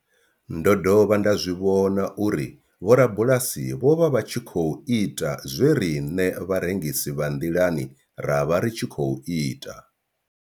Ndo dovha nda zwi vhona uri vhorabulasi vho vha vha tshi khou ita zwe riṋe vharengisi vha nḓilani ra vha ri tshi khou ita.